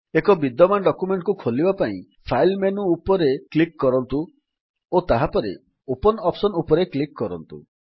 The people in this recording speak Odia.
ଏକ ବିଦ୍ୟମାନ ଡକ୍ୟୁମେଣ୍ଟ୍ ଖୋଲିବା ପାଇଁ ଫାଇଲ୍ ମେନୁ ଉପରେ କ୍ଲିକ୍ କରନ୍ତୁ ଓ ତାହାପରେ ଓପନ୍ ଅପ୍ସନ୍ ଉପରେ କ୍ଲିକ୍ କରନ୍ତୁ